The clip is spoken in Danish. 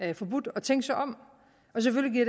er forbudt at tænke sig om og selvfølgelig